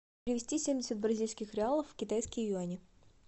перевести семьдесят бразильских реалов в китайские юани